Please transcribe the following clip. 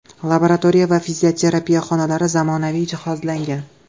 Laboratoriya va fizioterapiya xonalari zamonaviy jihozlangan.